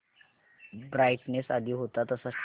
brightness आधी होता तसाच ठेव